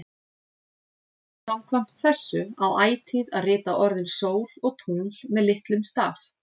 Samkvæmt þessu á ætíð að rita orðin sól og tungl með litlum staf.